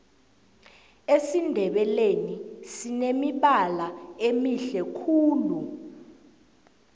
esindebeleni sinemibala emihle khulu